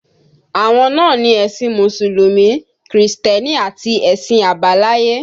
Àwọn náà ni ẹ̀sìn Mùsùlùmí, Krìstẹ́nì àti ẹ̀sìn àbáláyé